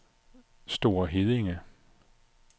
Store Heddinge